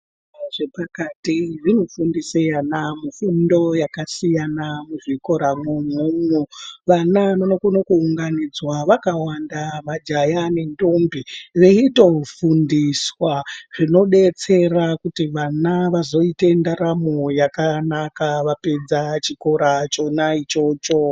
Zvikora zvepakati zvinofundise vana fundo yakasiyana muzvikora imwomo umo, vana vanokone kuunganidzwa vakawanda majaha nentombi veitofundiswa zvinodetsera kuti vana vazoite ndaramo yakanaka vapedza chikora chona ichocho.